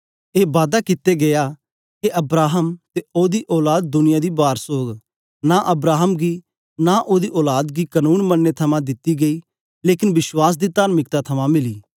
ए बादा कित्ते गीया के अब्राहम ते ओदी औलाद दुनिया दी वारस ओग नां अब्राहम गी नां ओदी औलाद गी कनून मनने थमां दित्ती गेई लेकन विश्वास दी तार्मिकता थमां मिली